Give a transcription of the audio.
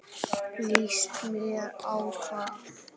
Líst mér á hvað?